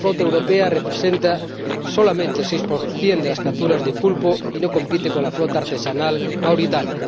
La flota europea representa solamente el 6 de las capturas de pulpo y no compite con la flota artesanal mauritana.